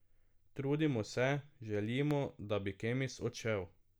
Trudimo se, želimo, da bi Kemis odšel.